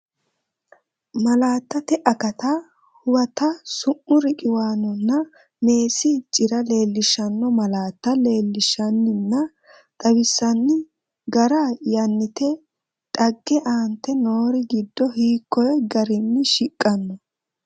Malaattate Akatta Huwata Su’mu riqiwaanonna meessi cira leellishshanno malaatta leellinshanninna xawinsanni gara, Yannitte xagga aante noori giddo hiikko garinni shiqqanno?